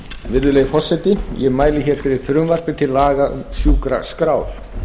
virðulegi forseti ég mæli fyrir frumvarpi til laga um sjúkraskrár